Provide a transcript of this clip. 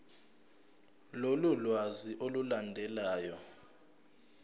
lolu lwazi olulandelayo